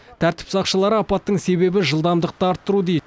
тәртіп сақшылары апаттың себебі жылдамдықты арттыру дейді